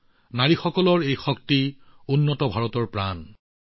নাৰী শক্তিৰ এই শক্তি হৈছে এক উন্নত ভাৰতৰ অম্লজানস্বৰূপ